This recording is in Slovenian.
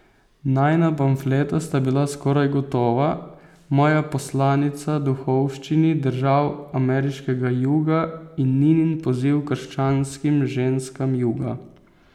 Najina pamfleta sta bila skoraj gotova, moja Poslanica duhovščini držav ameriškega Juga in Ninin Poziv krščanskim ženskam Juga.